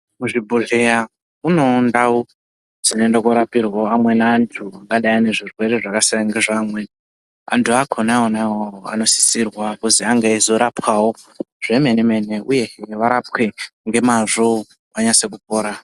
Kuzvibhodhleya kunewo ndau dzinoenda kundorapirwa amweni antu angadai ane zvirwere zvakasiyana nezveamweni. Antu akona wona iwawo anosisirwa kuzi ange eyizorapwawo zvemene-mene uyehe varapwe ngemazvo vanyase kupora.